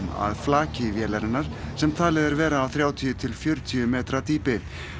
að flaki vélarinnar sem talið er vera á þrjátíu til fjörutíu metra dýpi